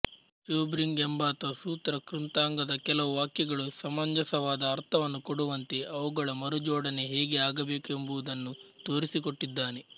Schubring ಎಂಬಾತ ಸೂತ್ರ ಕೃತಾಂಗದ ಕೆಲವು ವಾಕ್ಯಗಳು ಸಮಂಜಸವಾದ ಅರ್ಥವನ್ನು ಕೊಡುವಂತೆ ಅವುಗಳ ಮರುಜೋಡಣೆ ಹೇಗೆ ಆಗಬೇಕೆಂಬುದನ್ನು ತೋರಿಸಿಕೊಟ್ಟಿದ್ದಾನೆ